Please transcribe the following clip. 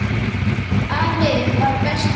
Afi var bestur.